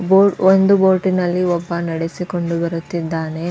ಬೊ ಒಂದು ಬೋಟಿನಲ್ಲಿ ಒಬ್ಬ ನಡೆಸುಕೊಂಡು ಬರುತ್ತಿದ್ದಾನೆ.